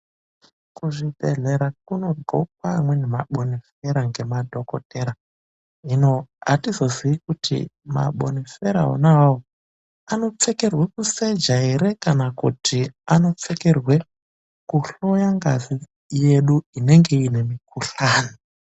Kuzvibhehlera kunodhlookwe amweni mabonifera ngemadhokodhera hino atizoziyi kuti mabofera onaawawo anopfekerwa kuseja ere kana kuti anopfekerwa kuhloya ngazi yedu inenge ine mukuhlani.